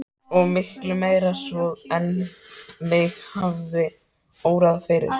Og miklu meira svo en mig hafði órað fyrir.